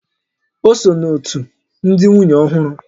O so n'òtù ndị nwunye ọhụrụ